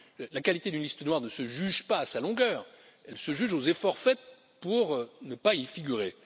La qualité d'une liste noire ne se juge pas à sa longueur, elle se juge aux efforts faits pour ne pas y figurer.